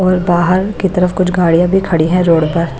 और बाहर की तरफ कुछ गाड़ियां भी खड़ी हैं रोड पर।